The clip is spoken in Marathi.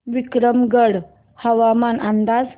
विक्रमगड हवामान अंदाज